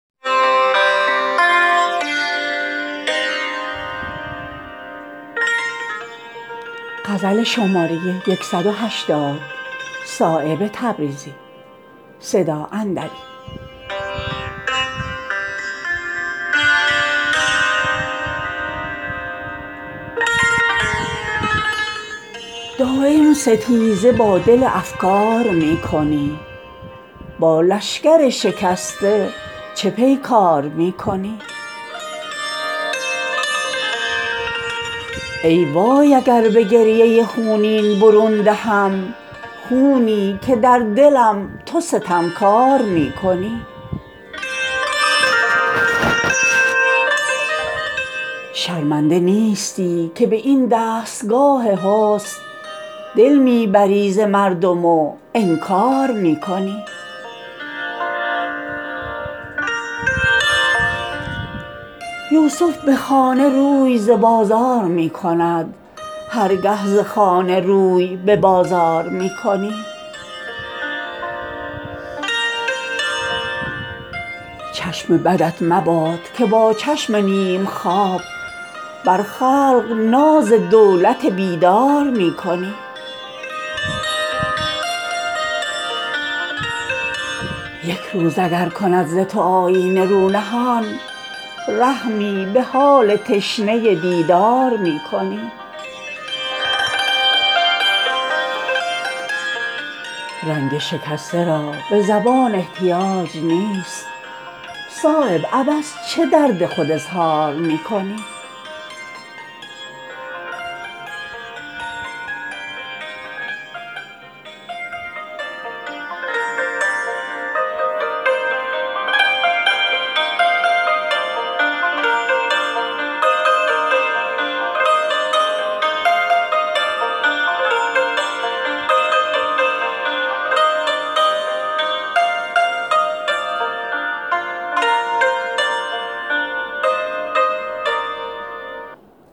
دایم ستیزه با دل افگار می کنی با لشکر شکسته چه پیکار می کنی ای وای اگر به گریه خونین برون دهم خونی که در دلم تو ستمکار می کنی با این حلاوتی که دل عالم از تو سوخت استادگی به شربت بیمار می کنی شرمنده نیستی که به این دستگاه حسن دل می بری ز مردم و انکار می کنی این جلوه ای که من ز تو بی باک دیده ام بر سرو طوق فاخته زنار می کنی یوسف به خانه روی ز بازار می کند هرگه ز خانه روی به بازار می کنی گر بگذری به سرو و صنوبر ز بار دل در جلوه نخست سبکبار می کنی گردی کز او بلند شود آه حسرت است بر هر گل زمین که تو رفتار می کنی چشم بدت مباد که با چشم نیم خواب بر خلق ناز دولت بیدار می کنی زین آب خوشگوار شود تشنگی زیاد ورنه علاج تشنه دیدار می کنی گل بر در قفس زن و در چشم دام خاک رحمی اگر به مرغ گرفتار می کنی یک روز اگر کند ز تو آیینه رو نهان رحمی به حال تشنه دیدار می کنی رنگ شکسته را به زبان احتیاج نیست صایب عبث چه درد خود اظهار می کنی